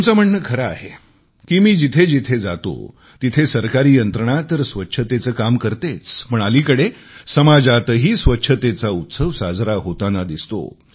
तुमचे म्हणणे खरे आहे की मी जिथे जिथे जातो तिथे सरकारी यंत्रणा तर स्वच्छतेचे काम करतेच पण अलीकडे समाजातही स्वच्छतेचा उत्सव साजरा होताना दिसतो